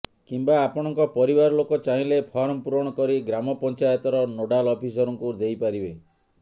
କିମ୍ବା ଆପଣଙ୍କ ପରିବାର ଲୋକ ଚାହିଁଲେ ଫର୍ମ ପୁରଣ କରି ଗ୍ରାମପଂଚାୟତର ନୋଡାଲ ଅଫିସରଙ୍କୁ ଦେଇପାରିବେ